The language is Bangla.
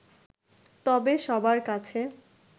তবে সবার কাছে